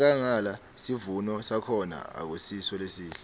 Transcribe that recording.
enkhangala sivuno sakhona akusiso lesihle